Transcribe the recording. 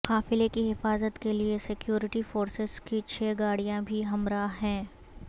قافلے کی حفاظت کے لیے سکیورٹی فورسز کی چھ گاڑیاں بھی ہمراہ ہیں